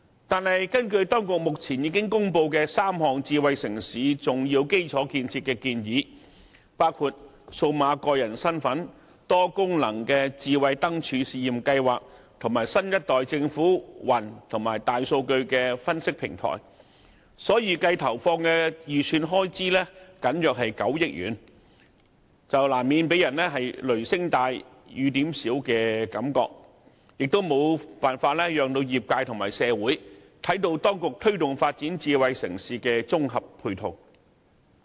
不過，根據當局公布的3項智慧城市重要基礎建設建議，包括數碼個人身份、多功能智慧燈柱試驗計劃，以及新一代政府雲端基礎設施及大數據分析平台，政府預計投放的預算開支僅為9億元左右，難免給人"雷聲大雨點小"的感覺，也無法讓業界和社會看到當局積極推動發展智慧城市的綜合配套工作。